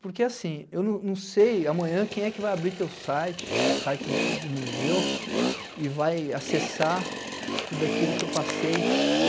Porque, assim, eu não não sei amanhã quem é que vai abrir o seu site, o site do museu, e vai acessar tudo aquilo que eu passei.